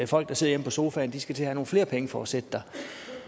folk der sidder hjemme på sofaen skal til at have nogle flere penge for at sidde der